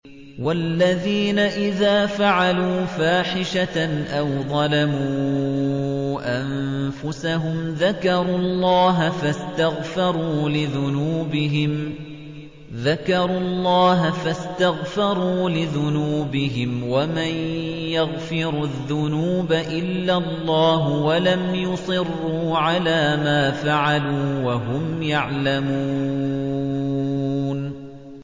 وَالَّذِينَ إِذَا فَعَلُوا فَاحِشَةً أَوْ ظَلَمُوا أَنفُسَهُمْ ذَكَرُوا اللَّهَ فَاسْتَغْفَرُوا لِذُنُوبِهِمْ وَمَن يَغْفِرُ الذُّنُوبَ إِلَّا اللَّهُ وَلَمْ يُصِرُّوا عَلَىٰ مَا فَعَلُوا وَهُمْ يَعْلَمُونَ